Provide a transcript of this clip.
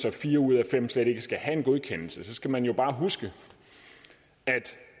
at fire ud af fem slet ikke skal have en godkendelse skal man jo bare huske at